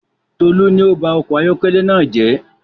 Tolu ni ọ ba ọkọ̀ ayọkẹlẹ naa jẹ